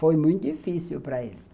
Foi muito difícil para eles.